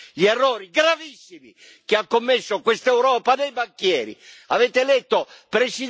Lei deve riconoscere gli errori gravissimi che ha commesso questa Europa dei banchieri.